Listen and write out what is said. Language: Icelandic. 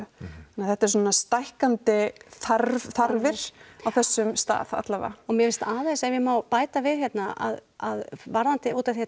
þetta er svona stækkandi þarfir þarfir á þessum stað alla vega og mér finnst aðeins ef ég má bæta við hérna að að varðandi út af því að